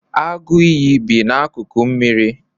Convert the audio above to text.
agụ iyi bi n'akụkụ osimiri?